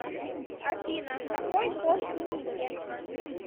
афина какой пол у нике